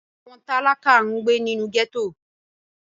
Àwọn tálákà ń gbé nínú gẹ́tò